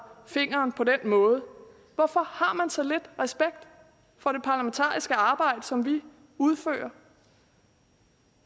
fingeren på den måde hvorfor har man så lidt respekt for det parlamentariske arbejde som vi udfører